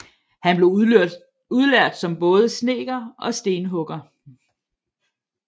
Han blev udlært som både snedker og stenhugger